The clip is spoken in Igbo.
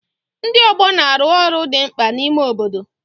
Ndi ọgbọ na-arụ ọrụ dị mkpa n'ime obodo.